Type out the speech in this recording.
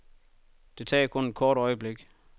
Det tager kun et kort øjeblik.